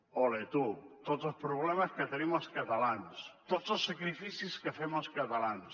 ole tu tots els problemes que tenim els catalans tots els sacrificis que fem els catalans